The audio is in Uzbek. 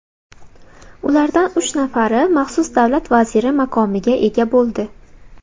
Ulardan uch nafari maxsus davlat vaziri maqomiga ega bo‘ldi.